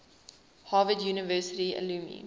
harvard university alumni